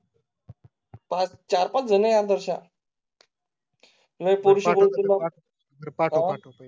पाच चार पाच जण आदर्शा. पाठ वा